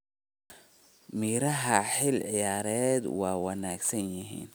Miraha xilli ciyaareedkan waa wanaagsan yihiin.